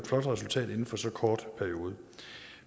flot resultat inden for så kort en periode